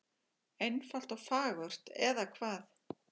Einfalt og fagurt, eða hvað?